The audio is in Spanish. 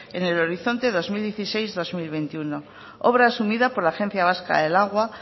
en el horizonte dos mil dieciséis dos mil veintiuno obra asumida por la agencia vasca del agua